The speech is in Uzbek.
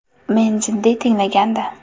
Meni jiddiy tinglagandi.